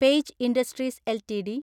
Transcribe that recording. page Industries LTD